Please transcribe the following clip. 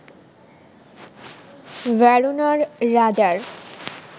ভেরোনার রাজার